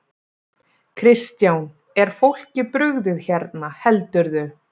Kristján: Er fólki brugðið hérna, heldurðu?